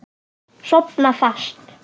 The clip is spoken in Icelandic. Sofna fast.